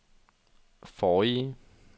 forrige